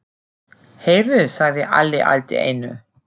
Heyrðu, sagði Alli allt í einu.